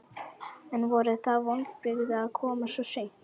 En voru það vonbrigði að koma svo seint?